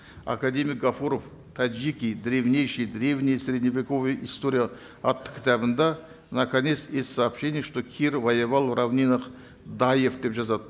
академик ғафуров таджики древнейшая древняя средневековая история атты кітабында наконец есть сообщение что кир воевал в равнинах даев деп жазады